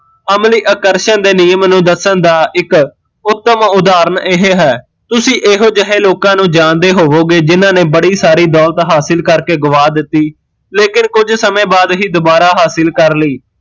ਅਮਲੀ ਆਕਰਸ਼ਣ ਦੇ ਨਿਯਮ ਨੂੰ ਦੱਸਣ ਦਾ ਇੱਕ ਉੱਤਮ ਉਦਾਹਰਨ ਇਹ ਹੈ ਤੁਸੀਂ ਇਹੋ ਜਹੇ ਲੋਕਾਂ ਨੂ ਜਾਣਦੇ ਹੋਵੋਗੇ ਜਿਹਨਾਂ ਨੇ ਬੜੀ ਸਾਰੀ ਦੋਲਤ ਹਾਸਲ ਕਰ ਕੇ ਗਵਾ ਦਿੱਤੀ ਲੇਕਿਨ ਕੁਜ ਸਮੇ ਬਾਦ ਹੀਂ ਦੁਬਾਰਾ ਹਾਸਿਲ ਕਰ ਲਈ